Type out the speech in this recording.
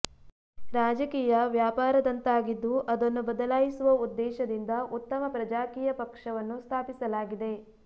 ರಾಜಕೀಯ ವ್ಯಾಪಾರದಂತಾಗಿದ್ದು ಅದನ್ನು ಬದಲಾಯಿಸುವ ಉದ್ದೇಶದಿಂದ ಉತ್ತಮ ಪ್ರಜಾಕೀಯ ಪಕ್ಷವನ್ನು ಸ್ಥಾಪಿಸಲಾಗಿದೆ